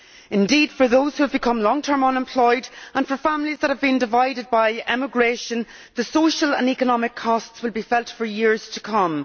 Indeed, for those who have become long term unemployed and for families that have been divided by emigration, the social and economic cost will be felt for years to come.